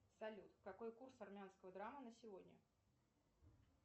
салют какой курс армянского драма на сегодня